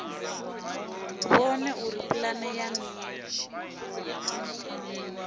vhone uri pulane ya nila